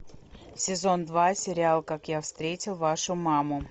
сезон два сериал как я встретил вашу маму